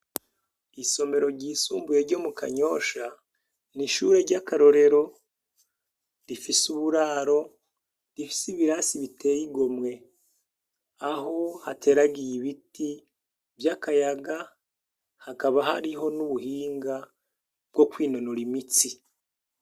Ishure ryisumbuye ryo mukanyosha n'ishure ry'akarorero rifise uburaro rifise ibarisi biteye igomwe, Aho hateragiye ibiti vy'akayaga hakaba hariho n'ubuhinga bwo kwinonora imitsi.